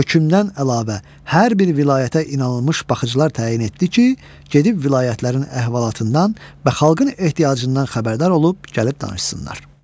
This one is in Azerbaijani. Hökmdən əlavə hər bir vilayətə inanılmış baxıcılar təyin etdi ki, gedib vilayətlərin əhvalatından və xalqın ehtiyacından xəbərdar olub gəlib danışsınlar.